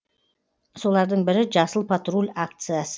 солардың бірі жасыл патруль акциясы